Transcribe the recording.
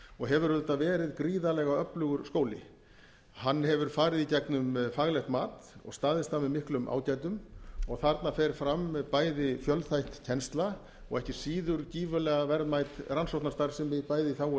og hefur auðvitað verið gríðarlega öflugur skóli hann hefur farið í gegnum faglegt mat og staðist það með miklum ágætum og þarna fer fram bæði fjölþætt kennsla og ekki síður gífurlega verðmæt rannsóknarstarfsemi bæði í þágu